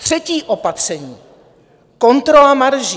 Třetí opatření - kontrola marží.